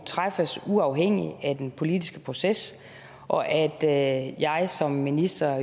træffes uafhængigt af den politiske proces og at at jeg som minister